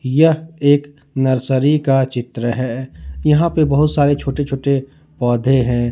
यह एक नर्सरी का चित्र है यहां पर बहुत सारे छोटे छोटे पौधे हैं।